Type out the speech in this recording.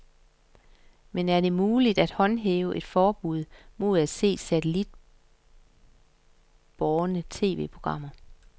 Men er det muligt at håndhæve et forbud mod at se satellitbårne tv-programmer?